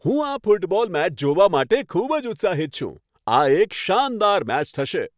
હું આ football match જોવા માટે ખૂબ જ ઉત્સાહિત છું! આ એક શાનદાર મેચ થશે.